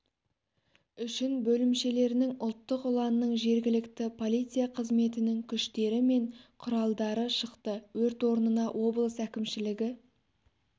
үшін бөлімшелерінің ұлттық ұланның жергілікті полиция қызметінің күштері мен құралдары шықты өрт орнына облыс әкімшілігі